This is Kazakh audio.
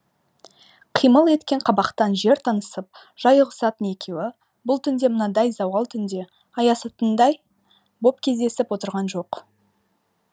қимыл еткен қабақтан жер танысып жай ұғысатын екеуі бұл түнде мынадай зауал түнде аясатындай боп кездесіп отырған жоқ